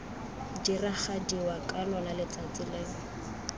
diragadiwa ka lona letsatsi leo